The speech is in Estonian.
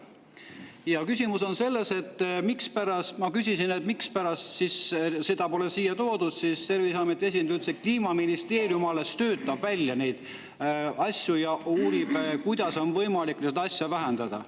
on selles, et kui ma küsisin, mispärast seda pole siia toodud, siis Terviseameti esindaja ütles, et Kliimaministeerium alles töötab välja neid asju ja uurib, kuidas on võimalik seda vähendada.